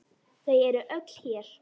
Þau eru öll hér.